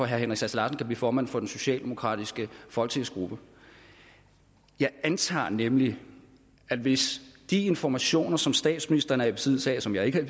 herre henrik sass larsen kan blive formand for den socialdemokratiske folketingsgruppe jeg antager nemlig at hvis de informationer som statsministeren er i besiddelse af og som jeg ikke